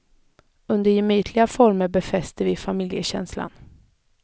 Under gemytliga former befäster vi familjekänslan.